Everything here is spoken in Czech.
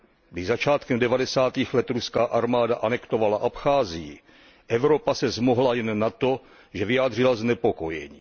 Když začátkem devadesátých let ruská armáda anektovala Abcházii, Evropa se zmohla jen na to, že vyjádřila znepokojení.